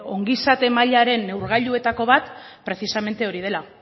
ongizateen mailaren neurgailutako bat precisamente hori dela